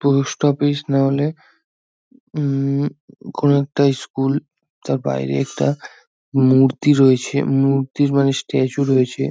Post office না হলে উম কোনো একটা স্কুল তার বাইরে একটা মূর্তি রয়েছে মূর্তি মানে স্ট্যাচু রয়েছে।